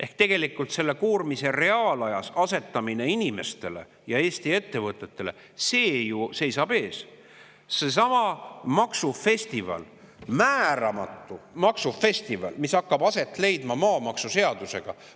Ehk tegelikult reaalajas selle koormise asetamine Eesti inimestele ja ettevõtetele seisab ju alles ees, ka seesama määramatu maksufestival, mis hakkab aset leidma maamaksuseaduse tõttu.